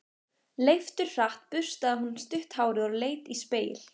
Leifturhratt burstaði hún stutt hárið og leit í spegil.